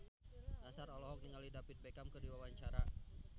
Nassar olohok ningali David Beckham keur diwawancara